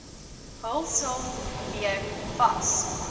hulsel weer vas